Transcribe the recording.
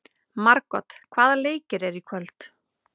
Margot, hvaða leikir eru í kvöld?